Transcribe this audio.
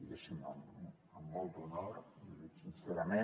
diguéssim amb molt d’honor i ho dic sincerament